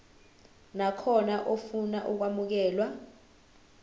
nakhona ofuna ukwamukelwa